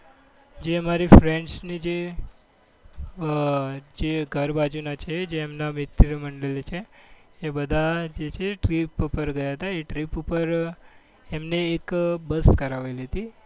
જે અમારી friends ની જે જે ઘર બાજુના છે જે એમને મિત્ર મંડળ છે. એ બજે છે એક trip ઉપર ગયા હતા. એ trip પર એમની એક બસ ધરાવેલી હતી.